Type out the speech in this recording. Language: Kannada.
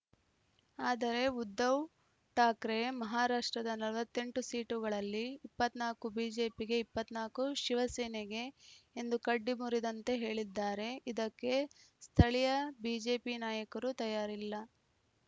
ಆದರೆ ಉದ್ಧವ್‌ ಠಾಕ್ರೆ ಮಹಾರಾಷ್ಟ್ರದ ನಲವತ್ತ್ ಎಂಟು ಸೀಟುಗಳಲ್ಲಿ ಇಪ್ಪತ್ತ್ ನಾಲ್ಕು ಬಿಜೆಪಿಗೆ ಇಪ್ಪತ್ತ್ ನಾಲ್ಕು ಶಿವಸೇನೆಗೆ ಎಂದು ಕಡ್ಡಿ ಮುರಿದಂತೆ ಹೇಳಿದ್ದಾರೆ ಇದಕ್ಕೆ ಸ್ಥಳೀಯ ಬಿಜೆಪಿ ನಾಯಕರು ತಯಾರಿಲ್ಲ